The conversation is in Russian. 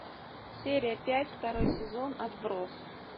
серия пять второй сезон отбросы